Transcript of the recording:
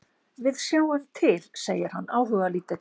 Við sjáum til, segir hann áhugalítill.